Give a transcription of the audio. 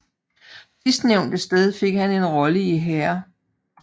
Sidstnævnte sted fik han en rolle i Hair